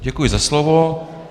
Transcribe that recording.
Děkuji za slovo.